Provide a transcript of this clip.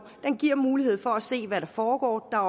giver mulighed for at se hvad der foregår der